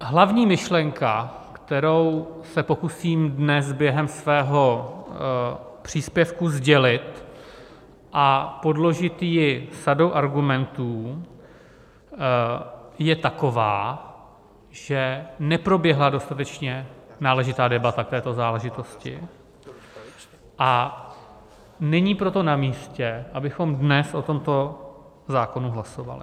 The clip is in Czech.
Hlavní myšlenka, kterou se pokusím dnes během svého příspěvku sdělit a podložit ji sadou argumentů, je taková, že neproběhla dostatečně náležitá debata k této záležitosti, a není proto namístě, abychom dnes o tomto zákonu hlasovali.